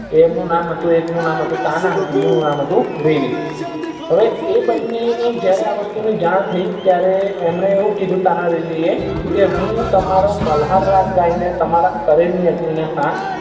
તેમનું નામ એક નુ નામ હતું તાના અને બીજાનું નામ હતું રીરી હવે એ બને ને આ વસ્તુ ની જાણ થઇ ત્યારે એમને એવું ક્યુ કે તાના રિરી ને કે હું તમારા મલ્હાર રાગ ગાયી ન તમારા શરીર ની અગ્નિ ને શાંત કરી શ